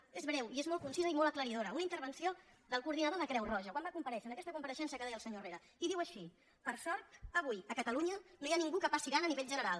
és breu i és molt conci·sa i molt aclaridora una intervenció del coordinador de creu roja quan va comparèixer en aquesta com·pareixença que deia el senyor herrera i que diu així per sort avui a catalunya no hi ha ningú que passi gana a nivell general